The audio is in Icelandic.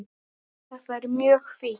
Þetta er mjög fínt.